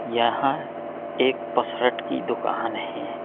यहाँं एक पसरट की दुकान है।